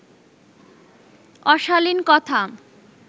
অশালীন কথা